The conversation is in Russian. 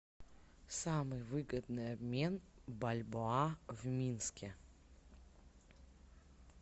самый выгодный обмен бальбоа в минске